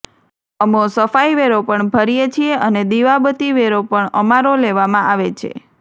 અમો સફાઈ વેરો પણ ભરીએ છીએ અને દિવાબતી વેરો પણ અમારો લેવામાં આવેછે